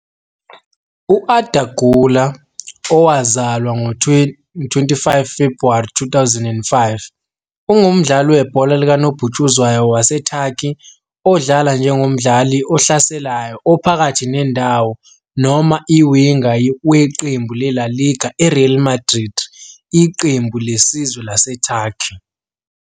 U-Arda Güler, owazalwa ngo-25 February 2005, ungumdlali webhola likanobhutshuzwayo waseTurkey odlala njengomdlali ohlaselayo ophakathi nendawo noma i-winger weqembu le-La Liga I-Real Madrid Iqembu lesizwe laseTurkey.